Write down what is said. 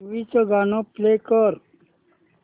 movie चं गाणं play कर